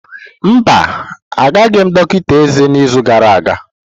Mba, agaghị m dọkịta eze n'izu gara aga.